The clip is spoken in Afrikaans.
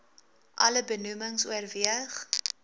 alle benoemings oorweeg